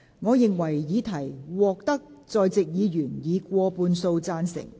我認為議題獲得在席議員以過半數贊成。